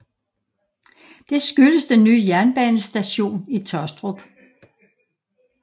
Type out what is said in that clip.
Det skyldes den nye jernbanestation i Taastrup